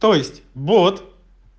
то есть бот